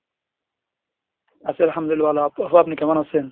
আছি, আলহামদুলিল্লাহ আপনি কেমন আছেন?